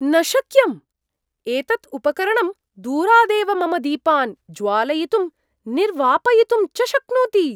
न शक्यम्! एतत् उपकरणं दूरादेव मम दीपान् ज्वालयितुं निर्वापयितुं च शक्नोति?